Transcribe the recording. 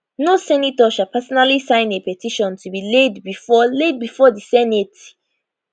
no senator shall personally sign a petition to be laid bifor laid bifor di senate